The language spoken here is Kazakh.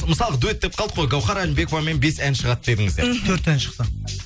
мысалғы дуэт деп қалдық қой гаухар әлімбековамен бес ән шығады дедіңіздер мхм төрт ән шықты